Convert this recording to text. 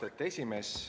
Austet esimees!